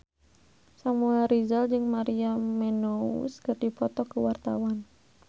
Samuel Rizal jeung Maria Menounos keur dipoto ku wartawan